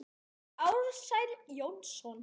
eftir Ársæl Jónsson